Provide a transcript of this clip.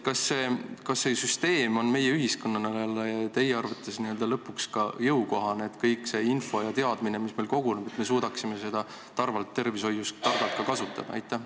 Kas see süsteem on meie ühiskonnale teie arvates jõukohane, nii et me suudame ka kogu seda infot ja teadmist, mis koguneb, tervishoius targalt kasutada?